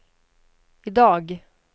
idag